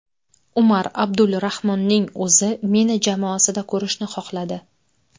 Umar Abdulrahmonning o‘zi meni jamoasida ko‘rishni xohladi.